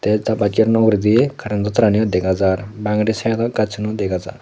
te ta buj no uguredi current to tara niyo degajar bangedi sideodi gaj suno degajar.